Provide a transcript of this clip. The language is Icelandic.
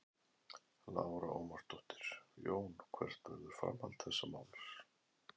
Lára Ómarsdóttir: Jón hvert verður framhald þessa máls?